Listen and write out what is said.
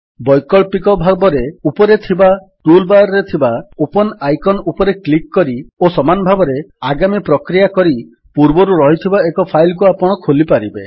ବୈକଳ୍ପିକ ଭାବରେ ଉପରେ ଥିବା ଟୁଲ୍ ବାର୍ ରେ ଥିବା ଓପନ୍ ଆଇକନ୍ ଉପରେ କ୍ଲିକ୍ କରି ଓ ସମାନ ଭାବରେ ଆଗାମୀ ପ୍ରକ୍ରିୟା କରି ପୂର୍ବରୁ ରହିଥିବା ଏକ ଫାଇଲ୍ କୁ ଆପଣ ଖୋଲିପାରିବେ